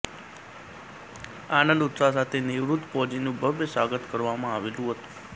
આનંદ ઉત્સાહ સાથે નિવૃત ફૌજીનું ભવ્ય સ્વાગત કરવામાં આવેલ હતું